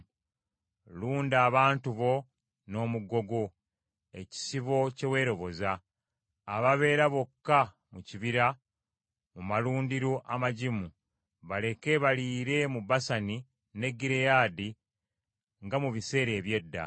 Lunda abantu bo n’omuggo gwo, ekisibo kye weeroboza, ababeera bokka mu kibira mu malundiro amagimu. Baleke baliire mu Basani ne Gireyaadi, nga mu biseera eby’edda.